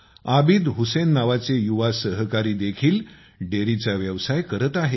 आबिद हुसेन नावाचे युवा सहकारी देखील डेरीचा व्यवसाय आकारात आहेत